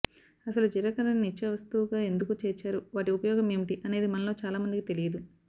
అసలు జీలకర్ర ని నిత్య వస్తువుగా ఎందుకు చేర్చారు వాటి ఉపయోగం ఏమిటి అనేది మనలో చాలా మందికి తెలియదు